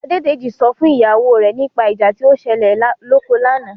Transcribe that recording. Adédèjì sọ fún ìyàwó rẹ̀ nípa ìjà tí ó ṣẹlẹ̀ lóko lánàá.